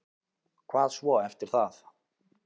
Hvað svo eftir það?